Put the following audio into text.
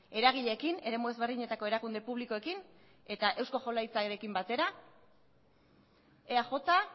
eragileekin eremu ezberdinetako erakunde publikoekin eta eusko jaurlaritzarekin batera eaj